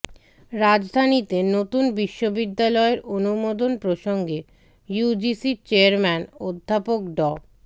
রাজধানীতে নতুন বিশ্ববিদ্যালয়ের অনুমোদন প্রসঙ্গে ইউজিসির চেয়ারম্যান অধ্যাপক ড